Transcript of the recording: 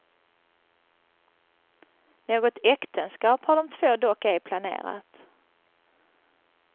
Något äktenskap har de två dock ej planerat.